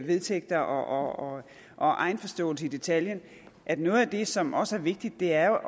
vedtægter og egenforståelse i detaljen at noget af det som også er vigtigt er